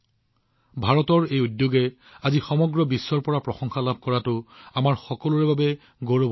এইটো আমাৰ সকলোৰে বাবে গৌৰৱৰ বিষয় যে আজি ভাৰতৰ এই পদক্ষেপটোৱে সমগ্ৰ বিশ্বৰ পৰা প্ৰশংসা লাভ কৰিছে